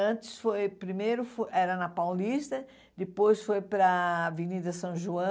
Antes, foi primeiro era na Paulista, depois foi para a Avenida São João,